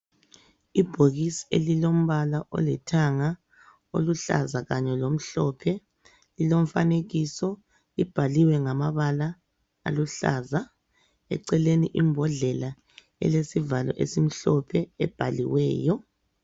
Ibhokisi elilombala olithanga, oluhlaza kanye lomhlophe. Lilomfanekiso. Libhaliwe ngamabala aluhlalaza. Eceleni imbodlela elesivalo esimhlophe ebhaliweyo.